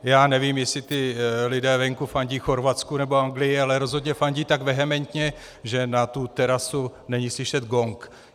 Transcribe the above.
Já nevím, jestli ti lidé venku fandí Chorvatsku, nebo Anglii, ale rozhodně fandí tak vehementně, že na tu terasu není slyšet gong.